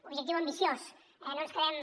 objectiu ambiciós no ens quedem